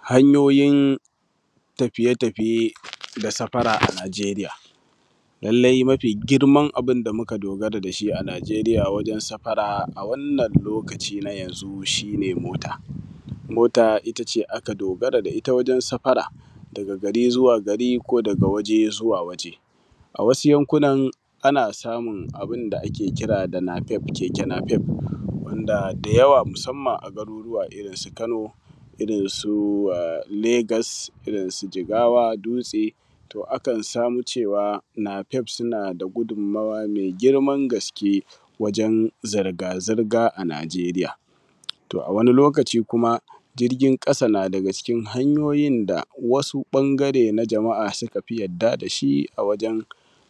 Hanyooyin tafiye-tafiye na safara a Naijerya Lallai mafi girman abunda muka dogara da shi a Naijerya wajen safara a wannan lokaci na yanzu shi ne mota. Mota ita ce aka dogara da ita wajen safara daga gari zuwa gari ko daga waje zuwa waje. A wasu yankunan ana samun abunda ake kira da nafeef keke nafeef wanda da yawa, musamman a garuruwan Kano, irin su Legas, irin su Jigawa, Dutse, to akan samu cewa nafeef suna da gudun-mawa me girman gaske wajen zirga-zirga a Naijerya. To a wani lokaci kuma, jirgin ƙasa na daga cikin hanyoyin da wasu bangare na jama’a su kafi yarda dashi a wajen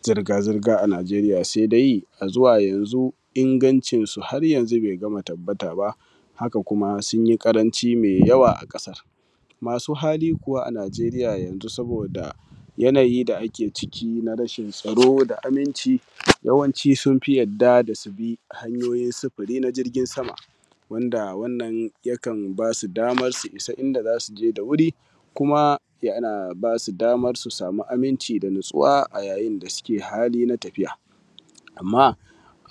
zirga-zirga a Naijerya. Shi dai a zuwa yanzu, ingancinsu har yanzu ba ya tabbataba. Haka kuma sunyi ƙaranci me yawa. Masu hali kuwa a Naijerya yanzu, saboda yanayin da ake ciki na rashin tsaro da aminci, yawanci sunfi yarda da subi hanyoyin sufuri na jirgin sama, wanda wannan yakan basu daman su isa inda zasu je da wuri, kuma yana basu daman su sami aminci da natsuwa a yain da suke cikin tafiya. Amma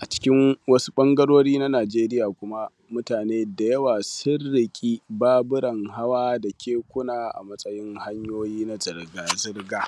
a cikin wasu ɓangarori na Naijerya, kuma mutane da yawa sun riƙe baburan hawa da kekekuna a matsayin hanyoyi na zirga-zirga.